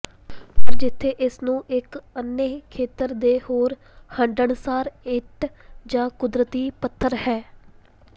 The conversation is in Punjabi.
ਪਰ ਜਿੱਥੇ ਇਸ ਨੂੰ ਇੱਕ ਅੰਨ੍ਹੇ ਖੇਤਰ ਦੇ ਹੋਰ ਹੰਢਣਸਾਰ ਇੱਟ ਜ ਕੁਦਰਤੀ ਪੱਥਰ ਹੈ